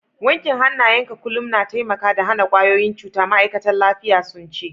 Wankin hanayen ka kullum na taimaka da hana kwayoyin cuta, ma'aikatan lafiya sun ce.